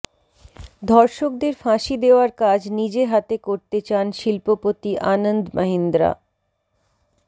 ধর্ষকদের ফাঁসি দেওয়ার কাজ নিজে হাতে করতে চান শিল্পপতি আনন্দ মাহিন্দ্রা